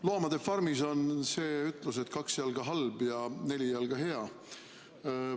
"Loomade farmis" on ütlus, et kaks jalga halb ja neli jalga hea.